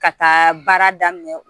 Ka taa baara daminɛ